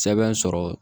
Sɛbɛn sɔrɔ